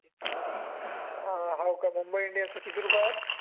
अं Mumbai Indians चे किती रुपये आहेत